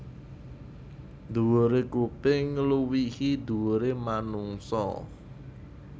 Dhuwure kuping ngluwihi dhuwure manungsa